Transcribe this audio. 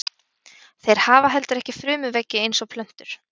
Þeir hafa heldur ekki frumuveggi eins og plöntur.